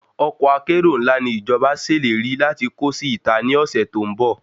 Ọkọ́ akérò ńlá ni ìjọba ṣèlérí láti kó sí ìta ní ọ̀sẹ̀ tó ń bọ̀